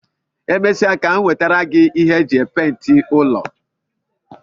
E mesịa ka m nwetara gi ihe m ji epenti ụlọ